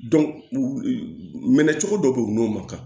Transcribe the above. minɛ cogo dɔ bɛ yen u n'o ma kan